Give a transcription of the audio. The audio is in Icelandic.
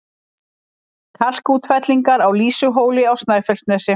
Kalkútfellingar á Lýsuhóli á Snæfellsnesi